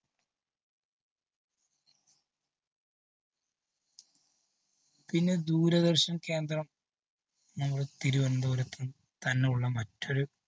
പിന്നെ ദൂരദര്‍ശന്‍ കേന്ദ്രം നമ്മള്‍ തിരുവനതപുരത്തു തന്നെയുള്ള മറ്റൊരു